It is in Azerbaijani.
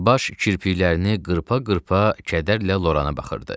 Baş kirpiklərini qırpa-qırpa kədərlə Lorana baxırdı.